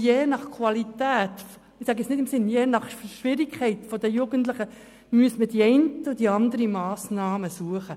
Je nach Qualität respektive nach den Schwierigkeiten der Jugendlichen müsste man die eine oder die andere Massnahme suchen.